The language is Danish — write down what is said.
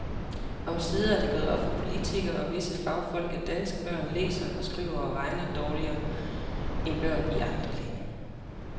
Omsider er det gået op for politikere og visse fagfolk, at danske børn læser, skriver og regner dårligere end børn i andre lande.